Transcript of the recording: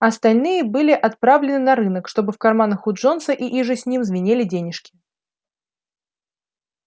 остальные были отправлены на рынок чтобы в карманах у джонса и иже с ним звенели денежки